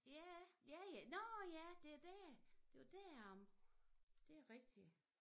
Ja ja ja nårh ja det dét det var deromme det rigtig